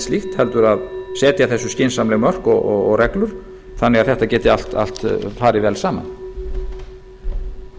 slíkt heldur að setja þessu skynsamleg mörk og reglur þannig að þetta geti allt farið vel saman